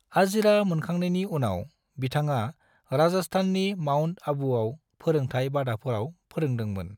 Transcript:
आजिरा मोनखांनायनि उनाव, बिथाङा राजस्थाननि माउन्ट आबूआव फोरोंथाय बादाफोराव फोरोंदोंमोन।